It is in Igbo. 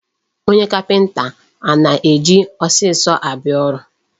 Onye kapịnta a na-eji osisi abịa ọrụ.